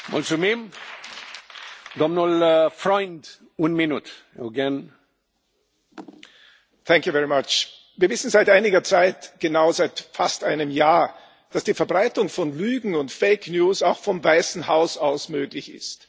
Herr Präsident! Wir wissen seit einiger Zeit genau seit fast einem Jahr dass die Verbreitung von Lügen und Fake News auch vom Weißen Haus aus möglich ist.